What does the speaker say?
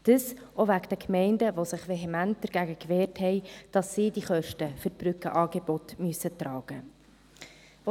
dies auch wegen der Gemeinden, die sich vehement dagegen wehrten, dass sie die Kosten für die Brückenangebote tragen müssen.